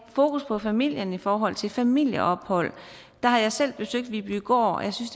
fokus på familien i forhold til familieophold der har jeg selv besøgt vibygård og jeg synes